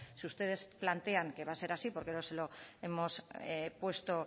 si ustedes plantean que va a ser así porque nos lo hemos puesto